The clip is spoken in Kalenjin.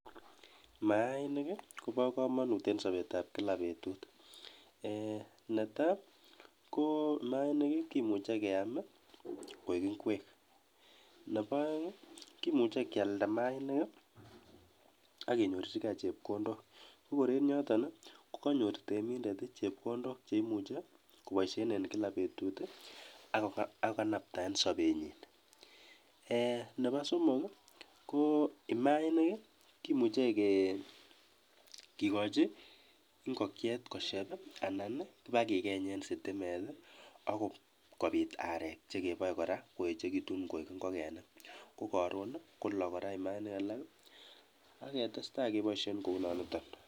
Mayainik kobo kamanut eng sobetab kila betut. Ne tai, ko mayainik kimuche keam koek ingwek, nebo aeng, kimuche kialda mayainik ak kenyorchikei chepkondok sikor eng yoyo kokanyor temindet chepkondok cheimuche kopoishe eng kila betut ako kanapta eng sobonyi. Nebo somok, ko maainik kimuche kikochin ingokiet kokeny anan ipkekeny eng sitimet akoi kopir arek chekepoe akoi koechekitu koek ingokenik, ko karon kolok kora mayainik alak ak ketestai kepoishen kounoniton.